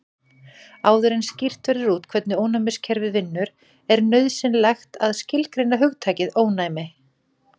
Áður en skýrt verður út hvernig ónæmiskerfið vinnur er nauðsynlegt að skilgreina hugtakið ónæmi.